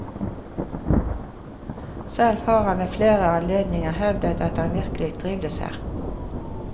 Selv har han ved flere anledninger hevdet at han virkelig trivdes her.